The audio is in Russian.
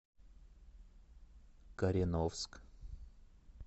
кореновск